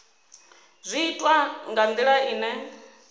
zwi itwa nga ndila ine